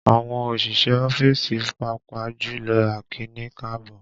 Àwọn òṣìṣẹ́ ọ́fíìsì, pàápàá jùlọ akíni káàbọ́